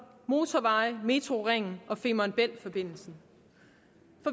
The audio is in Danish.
motorveje metrocityringen og femern bælt forbindelsen